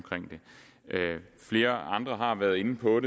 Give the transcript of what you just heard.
i det flere andre har været inde på at